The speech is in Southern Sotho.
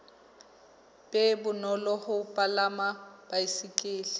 be bonolo ho palama baesekele